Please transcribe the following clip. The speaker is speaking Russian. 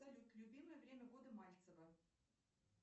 салют любимое время года мальцева